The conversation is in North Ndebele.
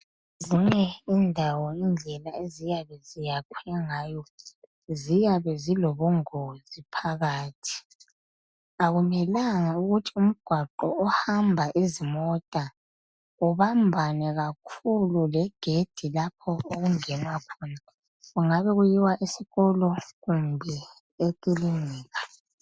Ezinye indawo indlela eziyabe ziyakhwe ngayo ziyabe zilobungozi phakathi .Akumelanga ukuthi umgwaqo ohamba izimota ubambane kakhulu legedi lapho okungenwa khona .Kungabe kuyiwa esikolo kumbe ekilinika .